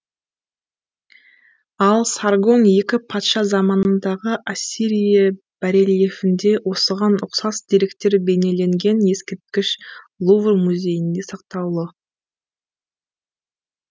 ал саргон екі патша заманындағы ассирия барельефінде осыған ұқсас деректер бейнеленген ескерткіш лувр музейінде сақтаулы